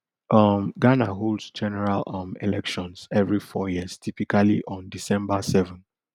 um ghana holds general um elections every four years typically on december seven